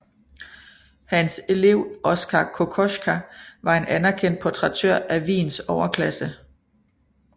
Hans elev Oskar Kokoschka var en anerkendt portrættør af Wiens overklasse